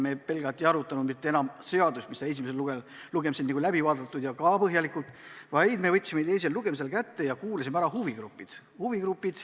Me pelgalt ei arutanud enam eelnõu, mis sai esimesel lugemisel ka põhjalikult käsitletud, vaid me võtsime teisel lugemisel kätte ja kuulasime ära huvigrupid.